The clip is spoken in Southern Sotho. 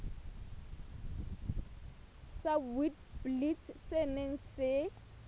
sa witblits se neng se